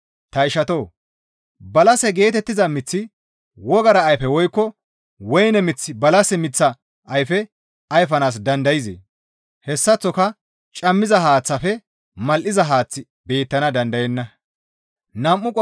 Ta ishatoo! Balase geetettiza miththi wogara ayfe woykko woyne miththi balase miththa ayfe ayfanaas dandayzee? Hessaththoka cammiza haaththafe mal7iza haaththi beettana dandayenna.